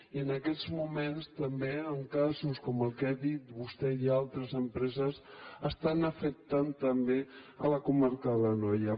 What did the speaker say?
i en aquests moments també amb casos com el que ha dit vostè i altres empreses estan afectant també la comarca de l’anoia